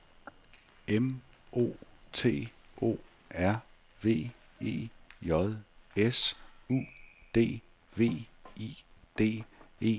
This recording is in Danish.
M O T O R V E J S U D V I D E L S E R